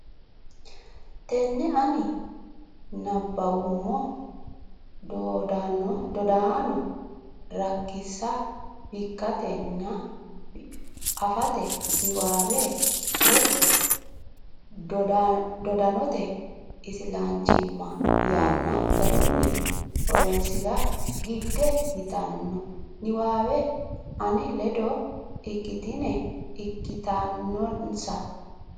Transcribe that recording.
tenne ani nabbawummo Dodaano rankensa bikkatenna afate niwaawe woy Dodaanote Islanchimma yanna garunni horonsi ra gidde yitanno niwaawe ane ledo ikkitine ikkitannonsa.